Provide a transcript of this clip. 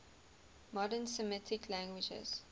modern semitic languages